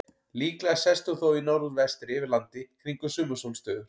Líklega sest hún þó í norðvestri yfir landi kringum sumarsólstöður.